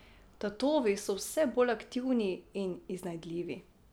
Tatovi so vse bolj aktivni in iznajdljivi.